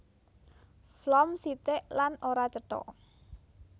Floèm sithik lan ora cetha